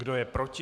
Kdo je proti?